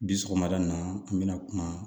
Bi sɔgɔmada in na n bɛna kuma